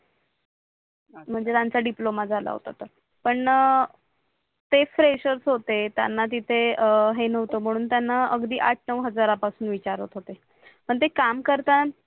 म्हणजे त्यांचा DIPLOMA झाला होता तस पण णा ते प्रेशर होते त्यांना तिथे हे नव्हतं म्हणून त्यांना अगदी आठ नऊ हजारापासून विचारत होते पण ते काम करताना